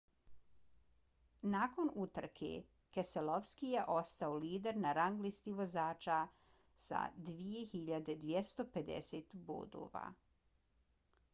nakon utrke keselowski je ostao lider na rang listi vozača s 2.250 bodova